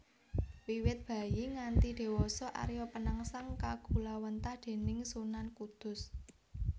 Wiwit bayi nganthi diwasa Arya Penangsang kagulawentah déning Sunan Kudus